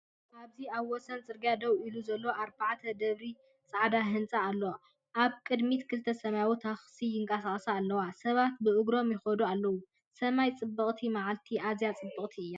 ኣብዚ ኣብ ወሰን ጽርግያ ደው ኢሉ ዘሎ ኣርባዕተ ደብሪ ጻዕዳ ህንጻ ኣሎ። ኣብ ቅድሚት ክልተ ሰማያውያን ታክሲታት ይንቀሳቐሳ ኣለዋ፣ ሰባት ብእግሮም ይኸዱ ኣለዉ። ሰማይ ጽብቕቲ፡ መዓልቲ ኣዝያ ጽብቕቲ እያ።